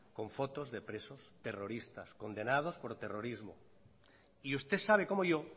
con fotos de presos terroristas condenados por terrorismo y usted sabe como yo